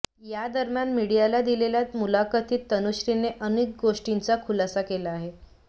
यादरम्यान मीडियाला दिलेल्या मुलाखतीत तनुश्रीने अनेक गोष्टींचा खुलासा केला आहे